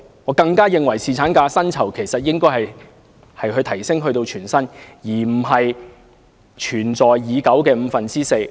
我更加認為侍產假的薪酬應該提升至全薪，而非沿用現時的五分之四工資。